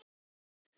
Jæja, sagði Óskar.